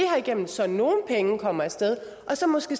igennem så nogle penge kommer af sted og så måske